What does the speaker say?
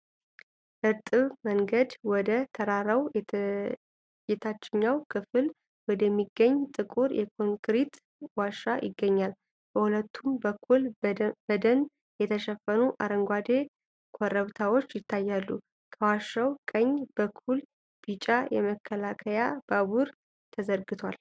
እርጥብ መንገድ ወደ ተራራው የታችኛው ክፍል ወደሚገኝ ጥቁር የኮንክሪት ዋሻ ይገባል። በሁለቱም በኩል በደን የተሸፈኑ አረንጓዴ ኮረብታዎች ይታያሉ። ከዋሻው ቀኝ በኩል ቢጫ የመከላከያ ባቡር ተዘርግቷል።